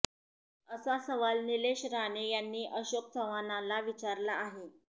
असा सवाल निलेश राणे यांनी अशोक चव्हाणांना विचारला आहे